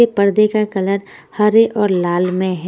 के पर्दे का कलर हरे और लाल में है--